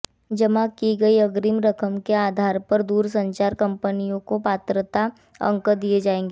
जमा की गई अग्रिम रकम के आधार पर दूरसंचार कंपनियों को पात्रता अंक दिए जाएंगे